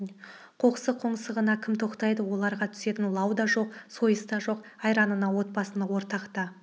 қоқсық қоңсығына кім тоқтайды оларға түсетін лау да жоқ сойыс та жоқ айранына отбасына ортақ та